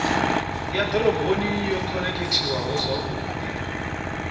ya dzidoroboni yo khonekhithiwaho zwavhudi